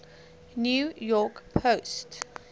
new york post